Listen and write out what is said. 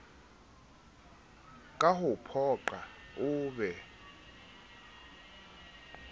ka ho phoqa oo be